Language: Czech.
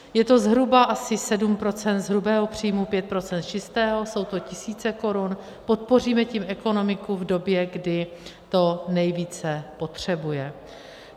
Je to zhruba asi 7 % z hrubého příjmu, 5 % z čistého, jsou to tisíce korun, podpoříme tím ekonomiku v době, kdy to nejvíce potřebuje.